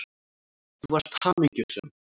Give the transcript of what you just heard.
Þú varst hamingjusöm.